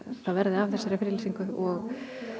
það verði af þessari friðlýsingu og